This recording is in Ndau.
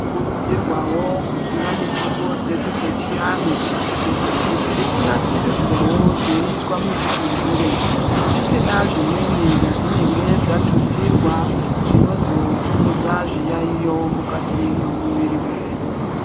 Kurudzirwawo kusima mitombo dzedu dzechianhu ngekuti dziri kunasiridzwawo dzeiswa muzvigumbure dzisina zvimweni zvadzinenge dzatutsirwa zvinozosimudza zviyaiyo mukati mwemuviri mwedu.